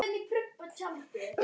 spurði Þórunn enn.